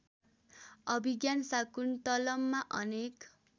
अभिज्ञान शाकुन्तलममा अनेक